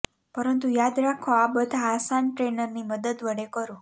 પરંતુ યાદ રાખો આ બધા આસન ટ્રેનરની મદદ વડે કરો